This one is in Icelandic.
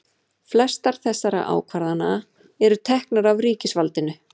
flestar þessara ákvarðana eru teknar af ríkisvaldinu